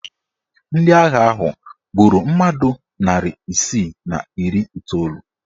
Ndị agha ahụ gburu mmadụ narị isi na iri iteolu.